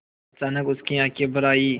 अचानक उसकी आँखें भर आईं